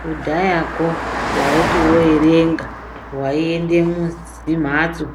Kudhayako waiti wo erenga wai ende muzi mhatso